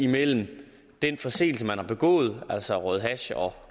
mellem den forseelse man har begået altså røget hash og